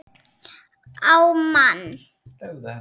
Á mann.